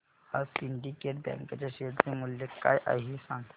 आज Syndicate Bank च्या share चे मूल्य काय आहे हे सांगा